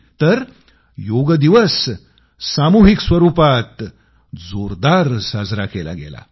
तर योग दिवस सामूहिक स्वरूपात जोरदार साजरा केला गेला